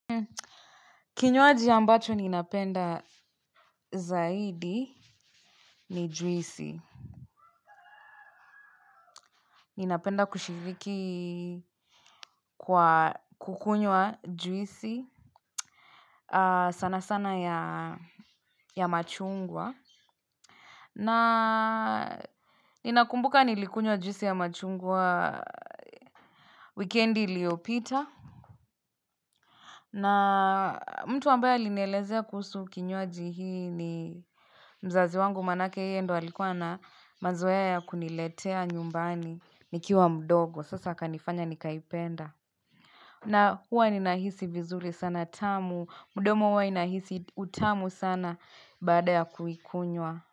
Kinywaji ambacho ninapenda zaidi ni juisi. Ninapenda kushiriki kwa kukunywa juisi sana sana ya machungwa. Na ninakumbuka nilikunywa juisi ya machungwa weekendi liyopita. Na mtu ambaya linelezea kusu kinywaji hii ni mzazi wangu manake yeye ndo alikuwa na mazwea ya kuniletea nyumbani nikiwa mdogo. Sasa akanifanya nikaipenda. Na huwa ni nahisi vizuri sana tamu. Mdomo huwa inahisi utamu sana baada ya kuikunywa.